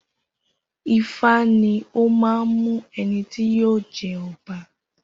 Ifá ní ọ man mú ẹnití yíò jẹ ọba